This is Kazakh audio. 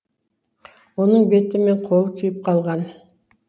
оның беті мен қолы күйіп қалған